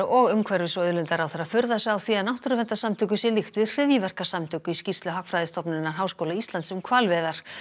og umhverfis og auðlindaráðherra furða sig á því að náttúruverndarsamtökum sé líkt við hryðjuverkasamtök í skýrslu Hagfræðistofnunar Háskóla Íslands um hvalveiðar